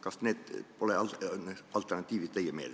Kas need pole teie meelest alternatiivid?